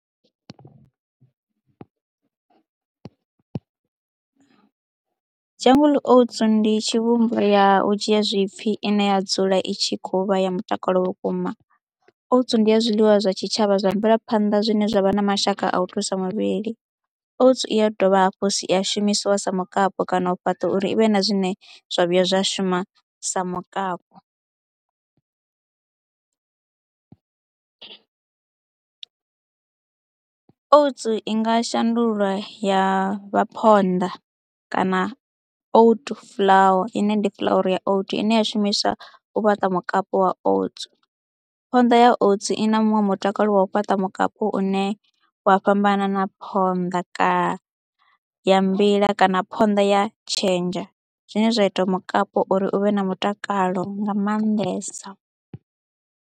Jungle Oats ndi tshivhumbea ya u dzhia zwipfhi ine ya dzula i tshi khou vha ya mutakalo vhukuma, oats ndi ya zwiḽiwa zwa tshitshavha zwa mvelaphanḓa zwine zwa vha na mashaka a u thusa muvhili. Oats i ya dovha hafhu ya shumisiwa sa mukapu kana u fhaṱa uri i vhe na zwine zwa vhuya zwa shuma sa mukapu. Oats i nga shandulwa ya vha phonḓa kana oat flour ine ndi fuḽauru ya oat ine ya shumiswa u fhaṱa mukapu wa oats. Phonḓa ya oats i na muṅwe mutakalo wa u fhaṱa mukapu une wa fhambanana phonḓa kana ya mbila kana phonḓa ya tshenzha zwine zwa itiwa mukapu uri u vhe na mutakalo nga maanḓesa.